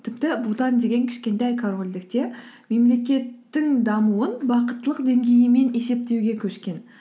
тіпті бутан деген кішкентай корольдікте мемлекеттіктің дамуын бақыттылық деңгейімен есептеуге көшкен